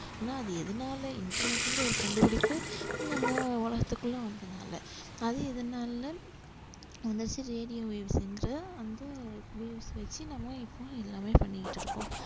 ஆனா அது எதனால இன்டர்நெட்ங்கற ஒரு கண்டுபிடிப்பு நம்ம உலகத்துக்குள்ள வந்தனால அது எதனால அந்த வெச்சி நம்ம இப்போ எல்லாமே பண்ணிக்கிட்டு இருக்கோம்